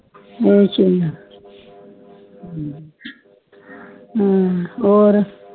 ਅੱਛਾ ਹੋਰ